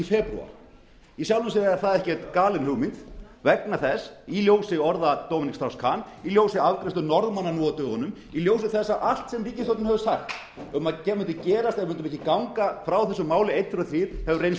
í febrúar í sjálfu sér er það ekki galin hugmynd vegna þess í ljósi orða dominic strauss kahn í ljósi afgreiðslu norðmanna nú á dögunum í ljósi þess að allt sem ríkisstjórnin hefur sagt sem þeir mundu gera sem mundu ganga frá þessu máli einn tveir og þrír hefur reynst